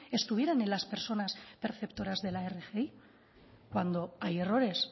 estuvieran en las personas perceptoras de la rgi cuando hay errores